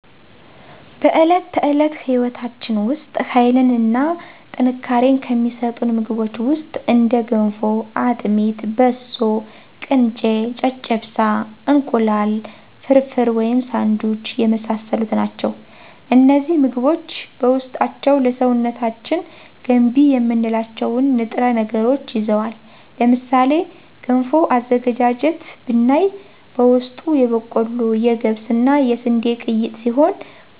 በዕለት ተዕለት ሕይወታችን ውስጥ ኃይልን እና ጥንካሬን ከሚሰጡን ምግቦች ውስጥ እንደ ገንፎ; አጥሚት; በሶ: ቅንጨ; ጨጨብሳ; እንቁላል ፍርፍር/ሳንዱች የመሳሰሉት ናቸው። እነዚህ ምግቦች በውስጣቸው ለሰውነታችን ገንቢ የምንላቸውን ንጥረ ነገሮችን ይዘዋል። ለምሳሌ ገንፎ አዘገጃጀት ብናይ በውስጡ የበቆሎ; የገብስ እና የስንዴ ቅይጥ ሲሆን